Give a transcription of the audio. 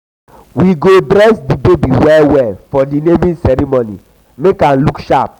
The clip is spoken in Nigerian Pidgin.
we go dress di baby well for di naming ceremony make am look sharp.